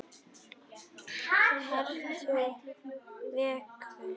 Ertu veikur?